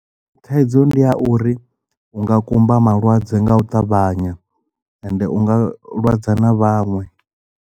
Thaidzo ndi ya uri unga kumba malwadze nga u ṱavhanya ende unga lwadza na vhaṅwe.